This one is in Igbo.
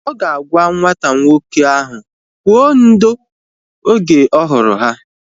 Ọ ga-agwa nwata nwoke ahụ kwụọ ndo! Oge ọ hụrụ ha